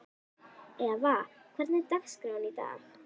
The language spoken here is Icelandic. Eva, hvernig er dagskráin í dag?